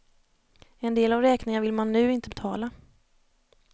En del av räkningarna vill man nu inte betala.